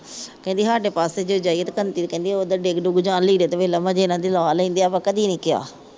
ਕਹਿੰਦੀ ਸਾਡੇ ਪਾਸੇ ਤਾਂ ਜਾਈਏ ਤਾਂ ਕਹਿੰਦੀ ਉਧਰ ਡਿੱਗ ਡਿੱਗੁ ਜਾਣ ਤ ਲੀੜੇ ਤਾਂ ਫੇਰ ਲਵਾਂ ਜੇ ਲਾ ਲਿੰਦੇ ਹਾਂ ਕਦੀ ਨਹੀ ਕਿਹਾ।